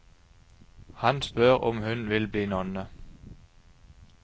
Han spør om hun vil bli nonne.